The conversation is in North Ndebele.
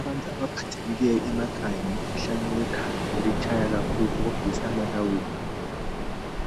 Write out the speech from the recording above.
Abantu abaphathekileyo emakhaya ngemikhuhlane wekhanda elitshaya kakhulu okudlulisa amalawulo